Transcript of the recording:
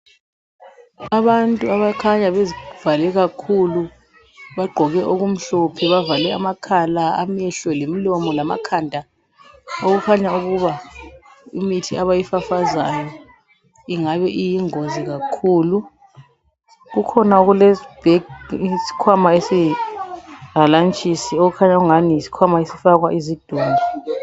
Abantu abakhanya bezivale kakhulu. Bagqoke okumhlophe. Bavale amakhala, amehlo, lemilomo lamakhanda Okukhanya ukuba imithi labayifafazayo ingabe iyingozi kakhulu. Kukhona okulesibag...isikhwama esiyihalantshisi, okukhanya angani yisikhwama esifaka izidumbu...